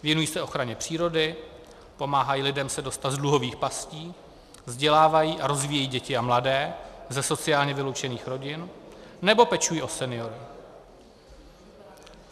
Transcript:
Věnují se ochraně přírody, pomáhají lidem se dostat z dluhových pastí, vzdělávají a rozvíjejí děti a mladé ze sociálně vyloučených rodin nebo pečují o seniory.